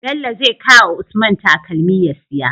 Bello zai kawa usman takalmi ya siya